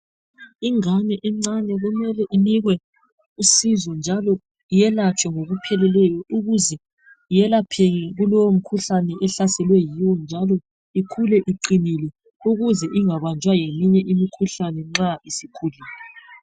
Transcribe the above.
Ingane encane kumele inikwe usizo njalo yelatshwe ngokupheleleyo ukuze iyelapheke kulowo mkhuhlane ehlaselwe yiwo njalo ikhule iqinile ukuze ingabanjwa ngeminye imikhuhlane nxa isikhulile.